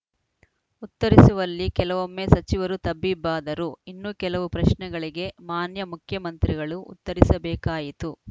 ಉತ್ತರಿಸುವಲ್ಲಿ ಕೆಲವೊಮ್ಮೆ ಸಚಿವರು ತಬ್ಬಿಬ್ಬಾದರು ಇನ್ನು ಕೆಲವು ಪ್ರಶ್ನೆಗಳಿಗೆ ಮಾನ್ಯ ಮುಖ್ಯಮಂತ್ರಿಗಳು ಉತ್ತರಿಸಬೇಕಾಯಿತು